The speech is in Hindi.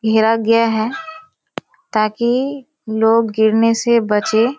घेर गया है ताकि लोग गिरने से बचे।